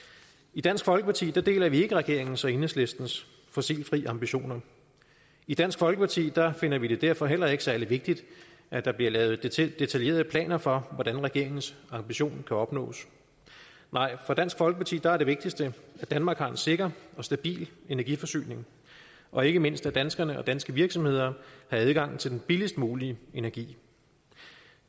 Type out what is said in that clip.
i dansk folkeparti deler vi ikke regeringens og enhedslistens fossilfri ambitioner i dansk folkeparti finder vi det derfor heller ikke særlig vigtigt at der bliver lavet detaljerede planer for hvordan regeringens ambition kan opnås nej for dansk folkeparti er det vigtigste at danmark har en sikker og stabil energiforsyning og ikke mindst at danskerne og danske virksomheder har adgang til den billigst mulige energi